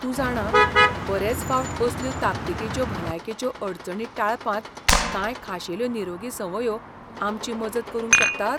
तूं जाणां, बरेच फावट असल्यो ताकतीकेच्यो भलायकेच्यो अडचणी टाळपांत कांय खाशेल्यो निरोगी संवंयो आमची मजत करूंक शकतात?